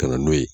Ka na n'o ye